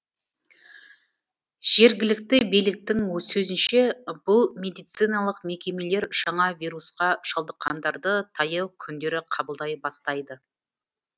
жергілікті биліктің сөзінше бұл медициналық мекемелер жаңа вирусқа шалдыққандарды таяу күндері қабылдай бастайды